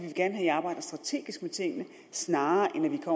i arbejder strategisk med tingene snarere end at